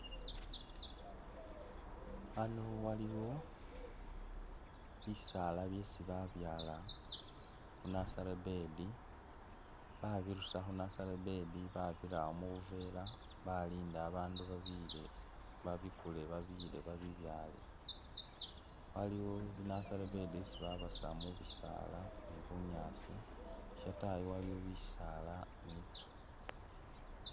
Ano waliwo bisaala byesi babyala khu nursery bed babirusa khu'nursery bed babirawo mubuvela balinda abandu babiyile babikule babiyile babibyale, waliiwo i'nursery bed isi babasa mubisala ni bunyaasi shatayi waliyo bisaala ni'nzu